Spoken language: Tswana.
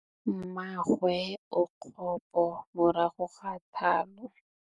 Mmagwe o kgapô morago ga tlhalô.